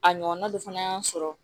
A ɲɔgɔnna dɔ fana y'an sɔrɔ